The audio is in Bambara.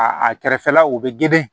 A a kɛrɛfɛlaw bɛ geren